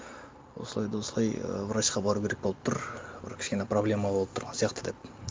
осылай да осылай і врачқа бару керек болып тұр бір кішкене проблема болып тұрған сияқты деп